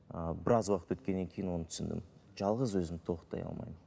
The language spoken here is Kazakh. ыыы біраз уақыт өткеннен кейін оны түсіндім жалғыз өзім тоқтай алмаймын